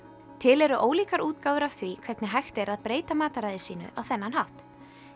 til eru ólíkar útgáfur af því hvernig er hægt að breyta mataræði sínu á þennan hátt